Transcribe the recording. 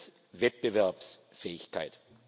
Erstens Wettbewerbsfähigkeit.